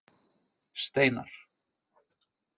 Steinar